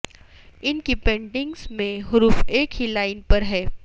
ان کی پینٹنگز میں حروف ایک ہی لائن پر ہیں